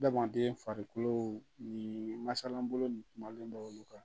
Adamaden farikolo ni masalangolon kumalen bɛ olu kan